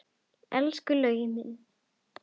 Elsku Laugi minn!